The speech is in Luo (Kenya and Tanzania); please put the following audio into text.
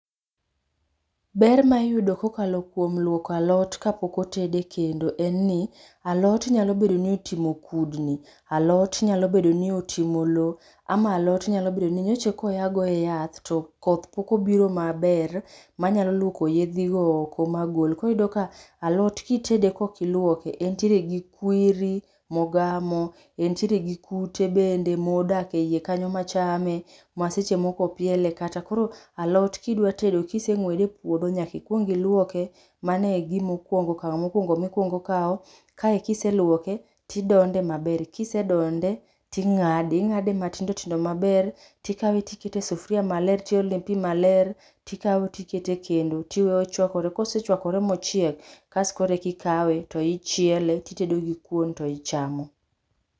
Ber ma iyudo kokalo kuom lwoko alot kapok otedi kendo en ni alot nyalo bedo ni otimo kudni. Alot nyalo bedo ni oting'o lowo ama alot nyalo bedo ni nyocha eka oya goye yath to koth pok obiro maber, manyalo lwoko yedhigo oko magol. Koro iyudo ka alot kitede kokilwoke, entiere gi kwiri mogamo, entiere gi kute bende modak ei kanyo machame ma seche moko opiele kata, koro alot kidwa tedo kiseng'wede e puodho, nyaka ikwong ilwoke. Mano e gimo kwongo, okang' mokwongo mikwongo kawo. Kae kiselwoke, tidonde maber. Kisedonde, ting'ade. Ing'ade matindo tindo maber tikawe tikete e sufuria maler tiolone pi maler tikawo tiketo e kendo tiwe ochwakore. Kosechwakore mochiek, kas koreki ikawe to ichiele titedogo kuon, to ichamo.